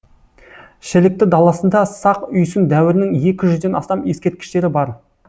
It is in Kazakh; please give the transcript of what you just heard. шілікті даласында сақ үйсін дәуірінің екі жүзден астам ескерткіштері бар